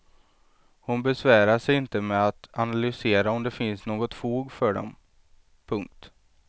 Hon besvärar sig inte med att analysera om det finns något fog för dem. punkt